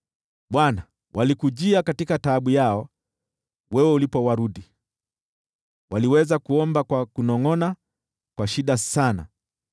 Bwana , walikujia katika taabu yao, wewe ulipowarudi, waliweza kuomba kwa kunongʼona tu.